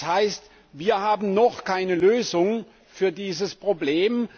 Das heißt, wir haben noch keine Lösung für dieses Problem.